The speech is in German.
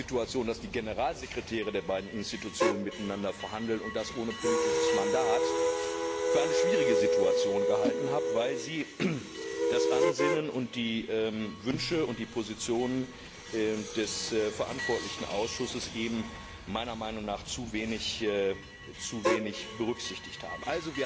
dass die Generalsekretäre der beiden Institutionen miteinander verhandeln, und das ohne politisches Mandat, für eine schwierige Situation gehalten habe, weil sie das Ansinnen und die Wünsche und die Positionen des verantwortlichen Ausschusses eben meiner Meinung nach zu wenig berücksichtigt haben.